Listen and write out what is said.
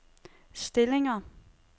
stillinger